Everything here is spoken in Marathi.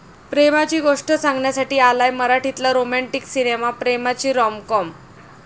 प्रेमाची गोष्ट सांगण्यासाठी आलाय मराठीतला रोमँटीक सिनेमा 'प्रेमाची रॉमकॉम'